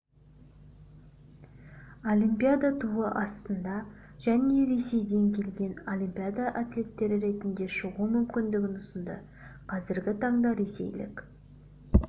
олимпиада туы астында және ресейден келген олимпиада атлеттері ретінде шығу мүмкіндігін ұсынды қазіргі таңда ресейлік